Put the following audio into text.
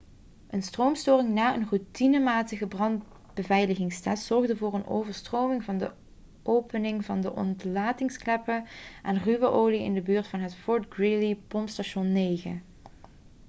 een stroomstoring na een routinematige brandbeveiligingstest zorgde voor een overstroming van de openingen van de ontlastingskleppen en ruwe olie in de buurt van het fort greely-pompstation 9